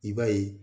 I b'a ye